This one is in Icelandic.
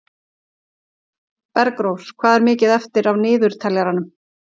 Bergrós, hvað er mikið eftir af niðurteljaranum?